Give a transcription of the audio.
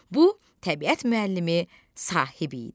Bu Təbiət müəllimi Sahib idi.